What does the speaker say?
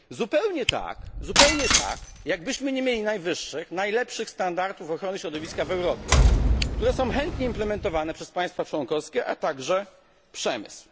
Zupełnie tak jakbyśmy nie mieli najwyższych, najlepszych standardów ochrony środowiska w Europie, które są chętnie wprowadzane przez państwa członkowskie, a także przemysł.